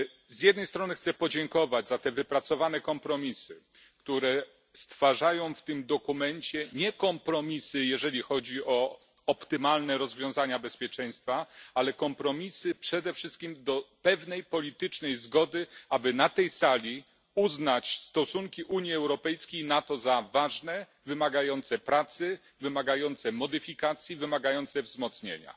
Z jednej strony chcę podziękować za te wypracowane kompromisy, nie jeżeli chodzi o optymalne rozwiązania bezpieczeństwa, ale o kompromisy przede wszystkim do pewnej politycznej zgody, aby na tej sali uznać stosunki Unii Europejskiej i NATO za ważne, wymagające pracy, wymagające modyfikacji, wymagające wzmocnienia.